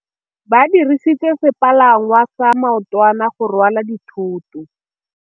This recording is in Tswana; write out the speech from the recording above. Ba dirisitse sepalangwasa maotwana go rwala dithôtô.